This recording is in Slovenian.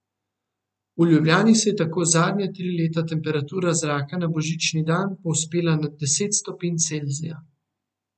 V Ljubljani se je tako zadnja tri leta temperatura zraka na božični dan povzpela nad deset stopinj Celzija.